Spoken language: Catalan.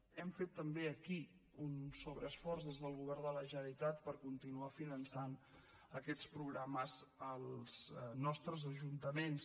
hem fet també aquí un sobreesforç des del govern de la generalitat per continuar finançant aquests programes als nostres ajuntaments